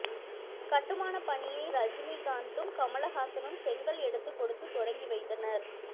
கட்டுமானப் பணியை ரஜினி காந்தும் கமல்ஹாசனும் செங்கல் எடுத்துக் கொடுத்து தொடங்கி வைத்தனர்